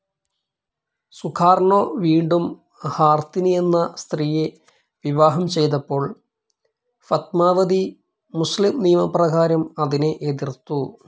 Sukarno വീണ്ടും Hartini എന്ന സ്ത്രീയെ വിവാഹം ചെയ്തപ്പോൾ ഫത്മാവതി, മുസ്ലിം നിയമപ്രകാരം അതിനെ എതിർത്തു.